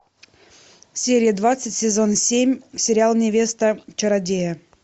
серия двадцать сезон семь сериал невеста чародея